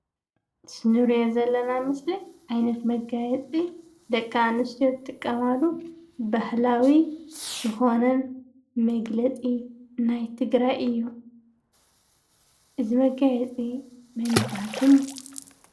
እዚ እንሪኦ ዘለና ምስሊ ዓይነት መጋየፂ ደቂ ኣነስትዮ ዝጥቀማሉ ባህላዊ ዝኮነ መግለፂ ናይ ትግራይ እዩ፡፡ እዚ መጋየፂ መን ይባሃል ሽሙ?